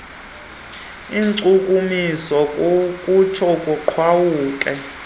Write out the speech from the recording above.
inkcukumiso kutsho kuqhawuke